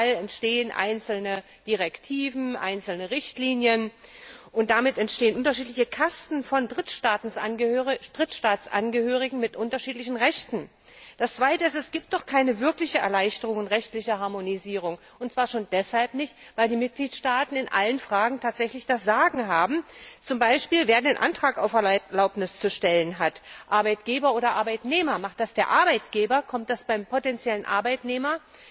Überall entstehen einzelne Richtlinien, und damit entstehen unterschiedliche Kasten von Drittstaatsangehörigen mit unterschiedlichen Rechten. Das Zweite ist Es gibt doch keine wirkliche Erleichterung und rechtliche Harmonisierung, und zwar schon deshalb nicht, weil die Mitgliedstaaten in allen Fragen tatsächlich das Sagen haben, z. B. wer den Antrag auf Erlaubnis zu stellen hat, Arbeitgeber oder Arbeitnehmer. Macht das der Arbeitgeber, kommt der Antrag beim potenziellen Arbeitnehmer